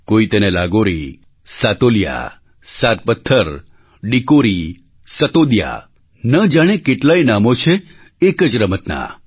કોઈ તેને લાગોરી સાતોલિયા સાત પથ્થર ડિકોરી સતોદિયા ન જાણે કેટલાંય નામો છે એક જ રમતનાં